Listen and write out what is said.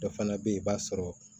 Dɔ fana bɛ yen i b'a sɔrɔ